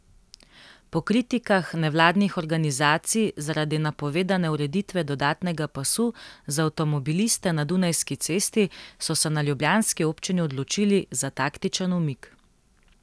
Po kritikah nevladnih organizacij zaradi napovedane ureditve dodatnega pasu za avtomobiliste na Dunajski cesti so se na ljubljanski občini odločili za taktičen umik.